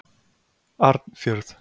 Arnfjörð